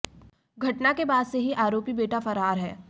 घटना के बाद से ही आरोपी बेटा फरार है